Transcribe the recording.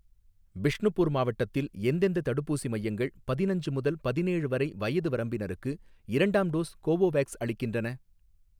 பிஷ்ணுபுர் மாவட்டத்தில் எந்தெந்த தடுப்பூசி மையங்கள் பதினஞ்சு முதல் பதினேழு வரை வயது வரம்பினருக்கு இரண்டாம் டோஸ் கோவோவேக்ஸ் அளிக்கின்றன?